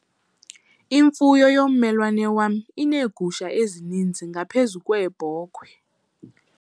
Imfuyo yommelwane wam ineegusha ezininzi ngaphezu kweebhokhwe.